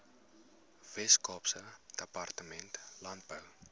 weskaapse departement landbou